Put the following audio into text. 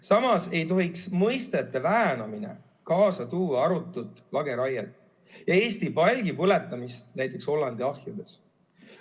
Samas ei tohiks mõistete väänamine kaasa tuua arutut lageraiet, Eesti palgi põletamist näiteks Hollandi ahjudes.